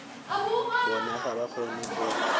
bona ga ba kgone go